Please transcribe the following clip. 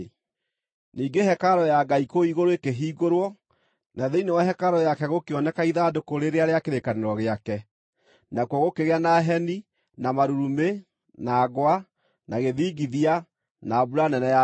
Ningĩ hekarũ ya Ngai kũu igũrũ ĩkĩhingũrwo, na thĩinĩ wa hekarũ yake gũkĩoneka ithandũkũ rĩrĩa rĩa kĩrĩkanĩro gĩake. Nakuo gũkĩgĩa na heni, na marurumĩ, na ngwa, na gĩthingithia, na mbura nene ya mbembe.